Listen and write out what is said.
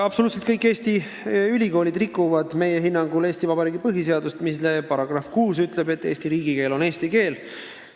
Absoluutselt kõik Eesti ülikoolid rikuvad meie hinnangul Eesti Vabariigi põhiseadust, mille § 6 ütleb, et Eesti riigikeel on eesti keel.